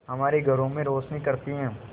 हमारे घरों में रोशनी करती है